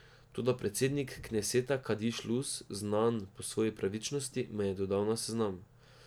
Toda predsednik kneseta Kadiš Luz, znan po svoji pravičnosti, me je dodal na seznam.